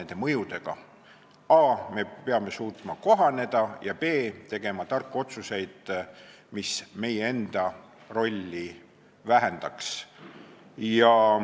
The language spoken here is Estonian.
Me peame a) suutma kohaneda ja b) tegema tarku otsuseid, mis meie enda rolli vähendaks.